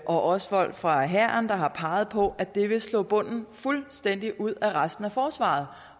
også folk fra hæren der har peget på at det vil slå bunden fuldstændig ud af resten af forsvaret